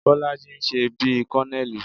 Bọ́lájí ń ṣe bí kọ́nẹẹ̀lì